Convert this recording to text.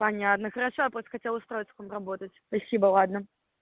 понятно хорошо я просто хотела устроиться подработать спасибо ладно